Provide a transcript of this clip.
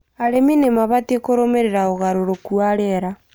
Arĩmĩ nĩmabatĩe kũrũmĩrĩra ũgarũrũkũ wa rĩera